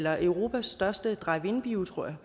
er europas største drive in bio tror jeg